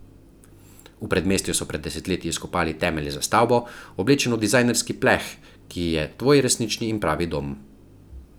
V predmestju so pred desetletji izkopali temelje za stavbo, oblečeno v dizajnerski pleh, ki je tvoj resnični in pravi dom.